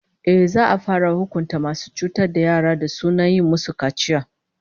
Ehh, za'a fara hukunta masu cutar da yara mata da suna yi musu kaciya